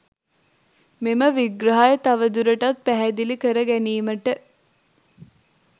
මෙම විග්‍රහය තවදුරටත් පැහැදිලි කර ගැනීමට